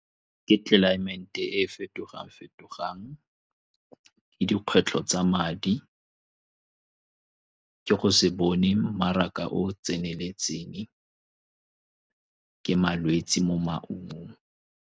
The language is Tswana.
Ke tlelaemete e e fetogang-fetogang, ke dikgwetlho tsa madi, ke go se bone mmaraka o o tseneletseng, ke malwetse mo maungong.